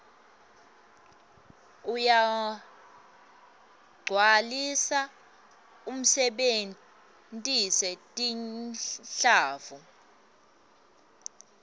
uyagcwalisa usebentise tinhlavu